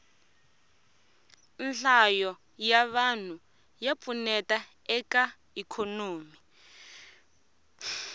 nhlayo ya vanhu ya pfuneta eka ikhonomi